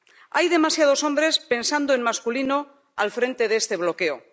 Hay demasiados hombres pensando en masculino al frente de este bloqueo.